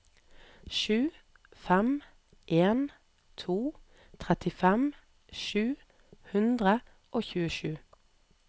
sju fem en to trettifem sju hundre og tjuesju